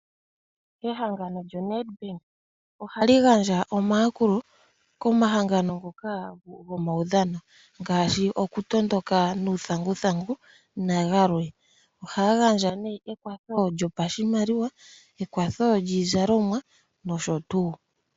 Ehangano lyo NedBank ohali gandja omayakulo komahangano ngoka gomaudhano ngaashi okutondoka nuuthanguthangu nagalwe. Ohaya gandja nee ekwatho lyopashimaliwa, ekwatho lyiizalomwa nosho tuu.